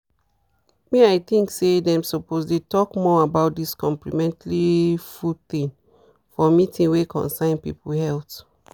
me i think say them suppose dey talk more about this complementary food thing for meeting wey concern people health.